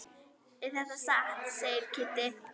Er þetta satt? segir Kiddi.